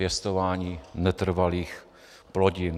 Pěstování netrvalých plodin.